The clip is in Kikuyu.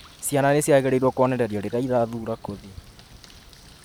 ciana nĩ ciagĩrĩĩruo kuonererĩo rĩrĩa irathuura kothĩ